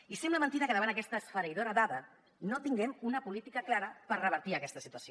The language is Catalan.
i sembla mentida que davant d’aquesta esfereïdora dada no tinguem una política clara per revertir aquesta situació